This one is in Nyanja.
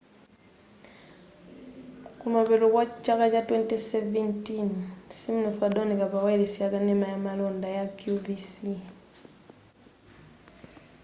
kumapeto kwa chaka cha 2017 siminoff adawoneka pa wayilesi yakanena ya malonda ya qvc